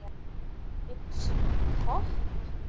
Buxum og topp?